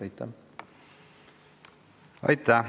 Aitäh!